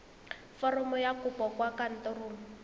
foromo ya kopo kwa kantorong